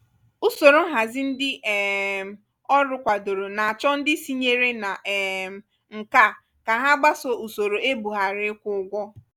usoro nhazi ndị um ọrụ kwadoro na-achọ ndị sinyere na um nke a ka ha gbasoo usoro ebughari ịkwụ ụgwọ.